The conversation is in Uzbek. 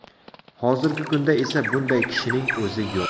Hozirgi kunda esa bunday kishining o‘zi yo‘q.